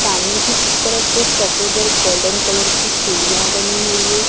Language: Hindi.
सामने की तरफ कुछ सफेद और गोल्डन कलर की सीढ़ियां बनी हुई है।